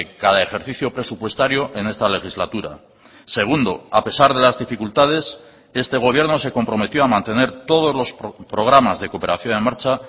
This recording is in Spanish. cada ejercicio presupuestario en esta legislatura segundo a pesar de las dificultades este gobierno se comprometió a mantener todos los programas de cooperación en marcha